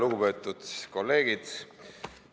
Lugupeetud kolleegid!